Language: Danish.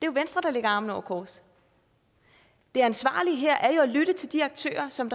jo venstre der lægger armene over kors det ansvarlige her er jo at lytte til de aktører som